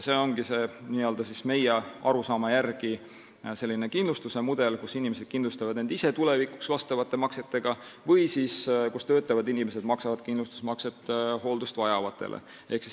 See ongi meie arusaama järgi selline kindlustuse mudel, kus inimesed kindlustavad ennast ise tulevikuks vastavate maksetega või kus töötavad inimesed maksavad kindlustusmakset hooldust vajavate eest.